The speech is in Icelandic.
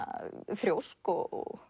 þrjósk og